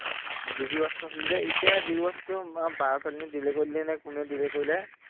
G B watch ত আছিলে যে এতিয়া জি বি watch টো বাৰ ছোৱালীজনীয়ে delete কৰিলে নে কোনে delete কৰিলে